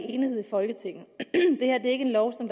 i enighed i folketinget det her er ikke en lov som